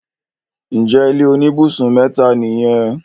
ǹjẹ́ ilé oníbùsùn mẹ́ta nìyẹn?